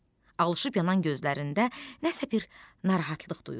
Alışıb yanan gözlərində nəsə bir narahatlıq duyulurdu.